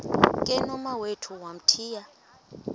ke nomawethu wamthiya